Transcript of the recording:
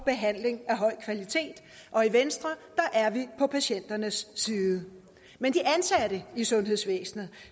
behandling af høj kvalitet og i venstre er vi på patienternes side men de ansatte i sundhedsvæsenet